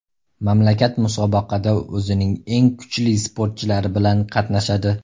Mamlakat musobaqada o‘zining eng kuchli sportchilari bilan qatnashadi.